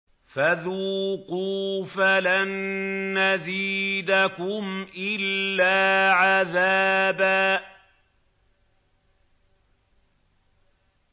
فَذُوقُوا فَلَن نَّزِيدَكُمْ إِلَّا عَذَابًا